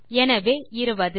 எனவே 20 கிடைத்துள்ளது